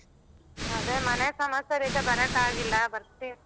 ಅದೇ ಮನೆ ಸಮಸ್ಯೆಲಿದೆ ಬರಕಾಗಿಲ್ಲ ಬರ್ತೀನಿ.